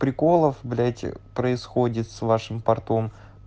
приколов блять происходит с вашим портом